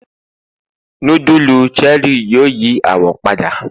nudulu Cherie yíò yí awọ pada